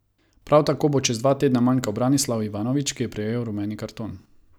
Prav tako bo čez dva tedna manjkal Branislav Ivanović, ki je prejel rumeni karton.